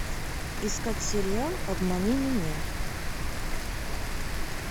искать сериал обмани меня